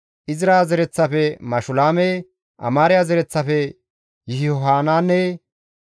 Izra zereththafe Mashulaame, Amaariya zereththafe Yihohanaane,